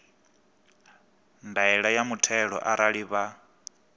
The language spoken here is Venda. ndaela ya muthelo arali vha